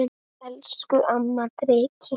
Elsku amma Dreki.